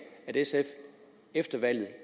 at sf efter valget